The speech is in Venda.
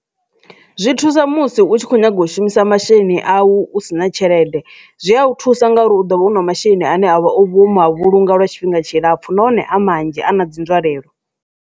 Zwi thusa musi u tshi kho nyaga u shumisa masheleni a u si na tshelede zwi a thusa ngauri u ḓo vha u na masheleni ane wo ma vhulunga lwa tshifhinga tshilapfhu nahone a manzhi a na dzi nzwalelo.